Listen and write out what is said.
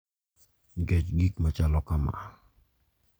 Nikech gik machalo kama,